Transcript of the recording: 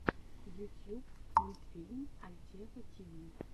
ютьюб мультфильм альтева тиви